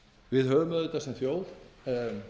langt kyrrstöðutímabil einhver orð um